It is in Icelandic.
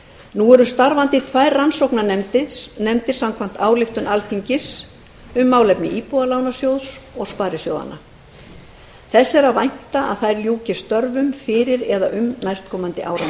nú eru starfandi tvær rannsóknarnefndir samkvæmt ályktun alþingis um málefni íbúðalánasjóðs og sparisjóðanna þess er að vænta að þær ljúki störfum fyrir eða um næstkomandi áramót